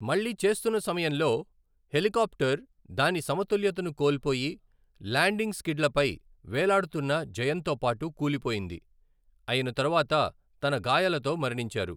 మళ్ళీ చేస్తున్న సమయంలో, హెలికాప్టర్ దాని సమతుల్యతను కోల్పోయి, ల్యాండింగ్ స్కిడ్లపై వేలాడుతున్న జయన్ తో పాటు కూలిపోయింది, అయిన తరువాత తన గాయాలతో మరణించారు.